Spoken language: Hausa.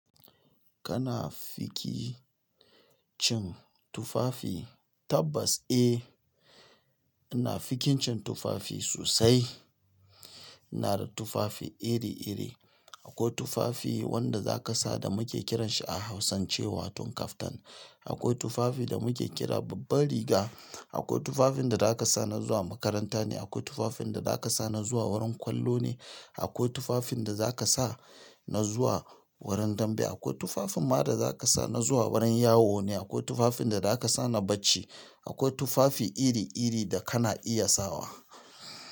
Kana fiki cin tufafi tabbas eh, ina fikincin tufafi sosai. Ina da tufafi iri iri akwai tufafi wanda zaka sa da muke kiranshi a hausance wato kaftan. Akwai tufafi da muke kira babban riga. Akwai tufafin da zaka sa na zuwa makaranta ne, akwai tufafin da zaka sa na zuwa wurin kollo ne, akwai tufafin da zaka sa na zuwa wurin dambe, akwai tufafin ma da zaka sa na zuwa wurin yawo ne, akwai tufafin da zaka sa na bacci. Akwai tufafi iri iri da kana iya sawa.